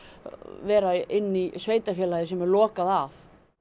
vera inni í sveitarfélagi sem er lokað af